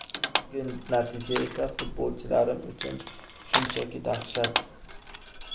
Bugungi natija esa futbolchilarim uchun shunchaki dahshat.